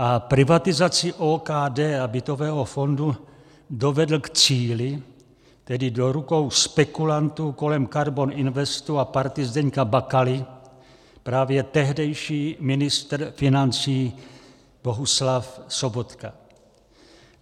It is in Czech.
A privatizaci OKD a bytového fondu dovedl k cíli, tedy do rukou spekulantů kolem KARBON INVESTU a party Zdeňka Bakaly, právě tehdejší ministr financí Bohuslav Sobotka.